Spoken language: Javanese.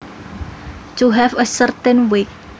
To have a certain weight